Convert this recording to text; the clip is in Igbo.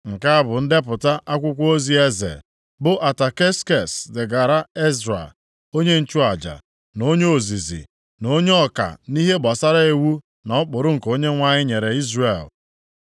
Nke a bụ ndepụta akwụkwọ ozi eze, bụ Ataksekses degaara Ezra onye nchụaja, na onye ozizi, na onye ọka nʼihe gbasara iwu na ụkpụrụ nke Onyenwe anyị nyere Izrel: